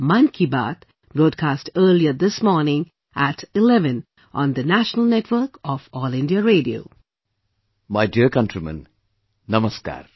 My dear countrymen, Namaskar